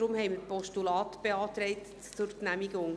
Deshalb haben wir beantragt, ein Postulat zu genehmigen.